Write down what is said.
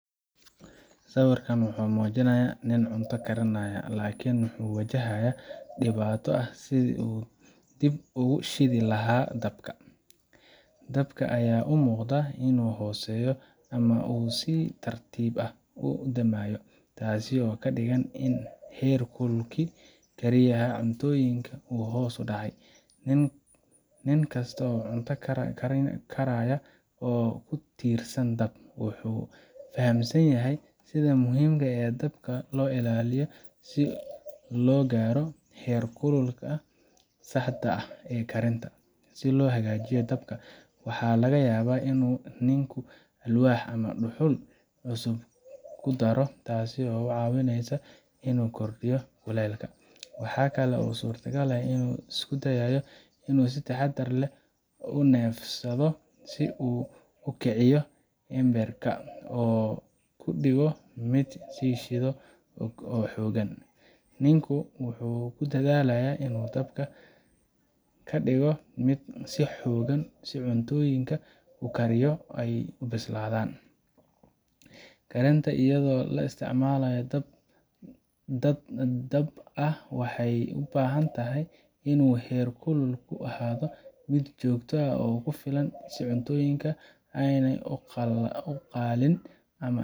Sawirkan wuxuu muujinayaa nin cunto karinaya, laakiin wuxuu wajahaya dhibaato ah sidii uu dib ugu shidi lahaa dabka. Dabka ayaa u muuqda inuu hooseeyo ama uu si tartiib ah u damayo, taasoo ka dhigan in heerkulkii kariyaha cuntooyinka uu hoos u dhacay. Nin kasta oo cunto karaya oo ku tiirsan dab, wuxuu fahamsan yahay sida muhiimka ah ee dabka loo ilaalinayo si loo gaaro heerkulka saxda ah ee karinta. Si loo hagaajiyo dabka, waxaa laga yaabaa inuu ninku alwaax ama dhuxul cusub ku daro, taas oo ka caawinaysa inuu kordhiyo kulaylka. Waxaa kale oo suuragal ah inuu isku dayo inuu si taxaddar leh u neefsado si uu u kiciyo embers ka, oo uu ka dhigo mid sii shidan oo xooggan. Ninku wuxuu ku dadaalayaa inuu dabka ka dhigo mid sii xooggan si cuntooyinka uu karayo ay u bislaan. Karinta iyadoo la isticmaalayo dab dhab ah waxay u baahan tahay inuu heerkulku ahaado mid joogto ah oo ku filan si cuntooyinka aanay uga qaliin ama